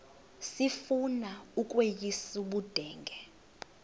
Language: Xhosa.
sifuna ukweyis ubudenge